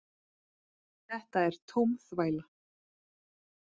Þetta er tóm þvæla